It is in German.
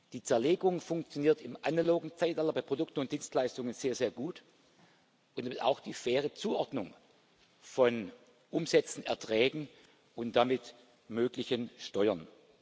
Die Zerlegung funktioniert im analogen Zeitalter bei Produkten und Dienstleistungen sehr, sehr gut und somit auch die faire Zuordnung von Umsätzen, Erträgen und damit möglichen Steuern.